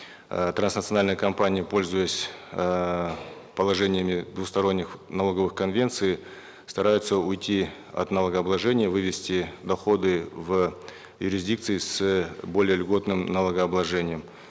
э транснациональные компании пользуясь эээ положениями двусторонних налоговых конвенций стараются уйти от налогообложения вывести доходы в юрисдикции с более льготным налогообложением